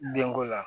Denko la